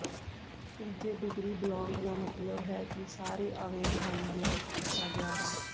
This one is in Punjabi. ਤੀਜੇ ਡਿਗਰੀ ਬਲਾਕ ਦਾ ਮਤਲਬ ਹੈ ਕਿ ਸਾਰੇ ਆਵੇਗਰਾਂ ਨੂੰ ਬਲੌਕ ਕੀਤਾ ਗਿਆ ਹੈ